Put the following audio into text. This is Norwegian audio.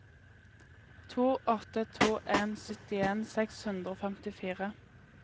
to åtte to en syttien seks hundre og femtifire